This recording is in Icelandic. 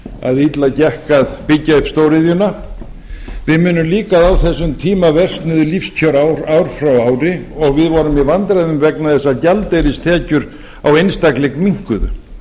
að illa gekk að byggja upp stóriðjuna við munum líka að á þessum tíma versnuðu lífskjör ár frá ári og við vorum í vandræðum vegna þess að gjaldeyristekjur á einstakling minnkuðu